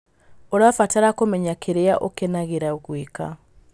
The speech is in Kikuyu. Ũrabatara kũmenya kĩrĩa ũkenagĩra gwĩka.